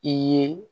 I ye